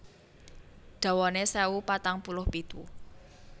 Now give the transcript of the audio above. Dawané sewu patang puluh pitu